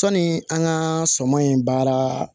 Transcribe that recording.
Sɔni an ka suman in baara